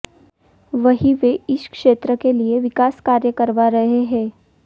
वहीं वे इस क्षेत्र के लिए विकास कार्य करवा रहे हैं